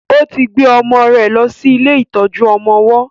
ó ti gbe ọmọ rẹ̀ ló sì ilé ìtọjú ọmọ ọwó